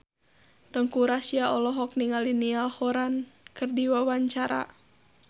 Teuku Rassya olohok ningali Niall Horran keur diwawancara